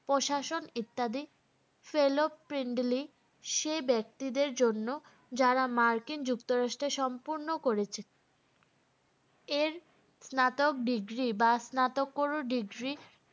প্রশাসন ইত্যাদি fellow সে ব্যক্তিদের জন্য যারা মার্কিন যুক্তরাষ্ট্রে সম্পূর্র্ণ করেছেন এর স্নাতক degree বা স্নাতকর degree